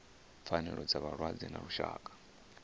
pfanelo dza vhalwadze ḽa lushaka